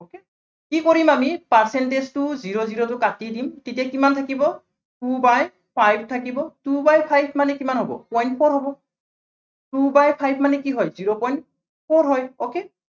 কি কৰিম আমি percentage টোৰ zero zero টো কাটি দিম আমি। তেতিয়া কিমান থাকিব, two by five থাকিব, two by five মানে কিমান হ'ব point four হ'ব। two by four মানে কি হয়, zero point four হয় okay